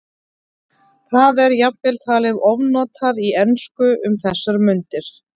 Það er jafnvel talið ofnotað í ensku um þessar mundir.